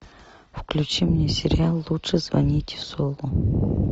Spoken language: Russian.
включи мне сериал лучше звоните солу